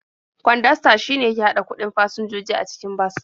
Kwandasta shine yake haɗa kuɗin fasinjoji a cikin bas.